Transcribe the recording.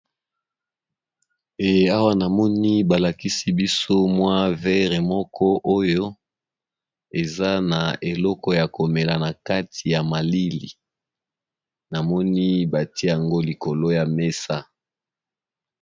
Awa namoni ba lakisi biso mwa verre moko oyo eza na eleko ya komela na kati ya malili namoni batia yango likolo ya mesa.